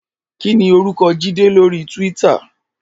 Kini órúkò Jide lóri túwìtá?